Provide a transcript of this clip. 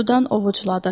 Sudan ovucladı.